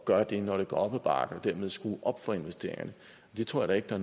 gøre det når det går op ad bakke og dermed skrue op for investeringerne det tror jeg da